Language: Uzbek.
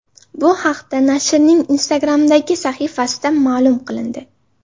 Bu haqda nashrning Instagram’dagi sahifasida ma’lum qilindi .